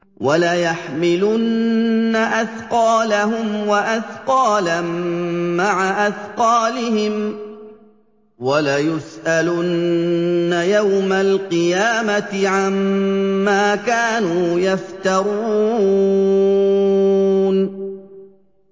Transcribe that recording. وَلَيَحْمِلُنَّ أَثْقَالَهُمْ وَأَثْقَالًا مَّعَ أَثْقَالِهِمْ ۖ وَلَيُسْأَلُنَّ يَوْمَ الْقِيَامَةِ عَمَّا كَانُوا يَفْتَرُونَ